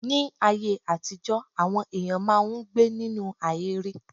Ní aye àtijọ́ àwọn èyàn máà ń gbé ninu ahèré.